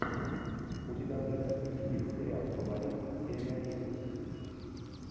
у тебя в загашнике есть сериал фаворит серия одиннадцать